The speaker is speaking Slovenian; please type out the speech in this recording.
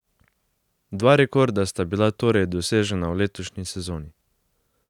Dva rekorda sta bila torej dosežena v letošnji sezoni.